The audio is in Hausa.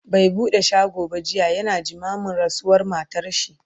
bai buɗe shago ba jiya, yana jimamin rasuwar matarshi